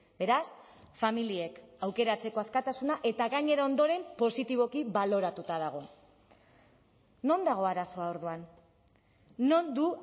beraz familiek aukeratzeko askatasuna eta gainera ondoren positiboki baloratuta dago non dago arazoa orduan non du